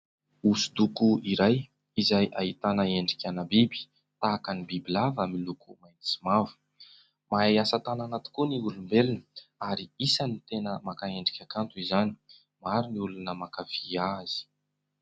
Hoso-doko iray izay ahitana endrika an-biby tahaka ny biby lava miloko mainty sy mavo. Mahay asa tanana tokoa ny olombelona ary isany tena maka endrika kanto izany maro ny olona mankafia azy.